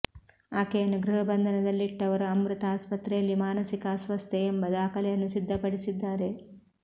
ಆಕೆಯನ್ನು ಗೃಹ ಬಂಧನದಲ್ಲಿಟ್ಟವರು ಅಮೃತ ಆಸ್ಪತ್ರೆಯಲ್ಲಿ ಮಾನಸಿಕ ಅಸ್ವಸ್ಥೆಯೆಂಬ ದಾಖಲೆಯನ್ನು ಸಿದ್ದಪಡಿಸಿದ್ದಾರೆ